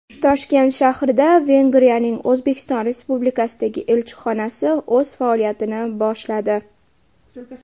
Toshkent shahrida Vengriyaning O‘zbekiston Respublikasidagi elchixonasi o‘z faoliyatini boshladi.